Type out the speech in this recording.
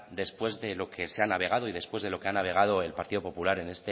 después de lo que se ha navegado y después de lo que ha navegado el partido popular